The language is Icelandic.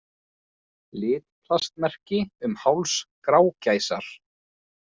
Litplastmerki um háls grágæsar.